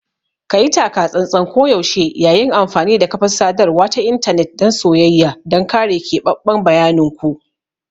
Kayi taka-tsantsan koyaushe yayin amfani da kafar sadarwa ta intanet dan soyayya don kare keɓaɓɓen bayanin ku.